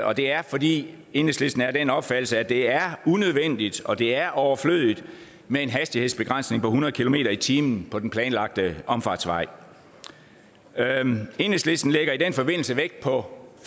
og det er fordi enhedslisten er af den opfattelse at det er unødvendigt og at det er overflødigt med en hastighedsbegrænsning på hundrede kilometer per time på den planlagte omfartsvej enhedslisten lægger i den forbindelse vægt på